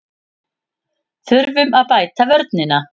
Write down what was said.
Þurfum að bæta vörnina